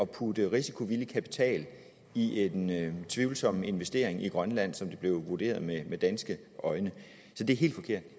putte risikovillig kapital i en tvivlsom investering i grønland som det blev vurderet med danske øjne så det er helt forkert